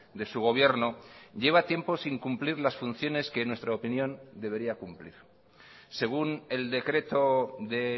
de su gobierno lleva tiempo sin cumplir las funciones que en nuestra opinión debería cumplir según el decreto de